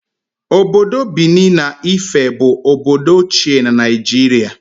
Obodo Benin na Ife bụ obodo ochie na Naịjirịa